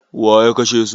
Waya kashe su?